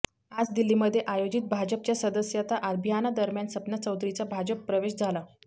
आज दिल्लीमध्ये आयोजित भाजपच्या सदस्यता अभियानादरम्यान सपना चौधरीचा भाजप प्रवेश झाला